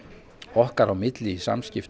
okkar á milli